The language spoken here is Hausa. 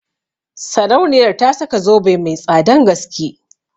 Sarauniyar ta saka zobe mai tsadan gaske